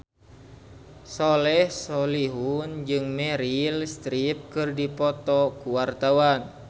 Soleh Solihun jeung Meryl Streep keur dipoto ku wartawan